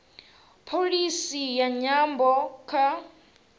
pholisi ya nyambo kha